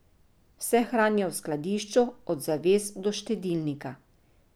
Vse hranijo v skladišču, od zaves do štedilnika.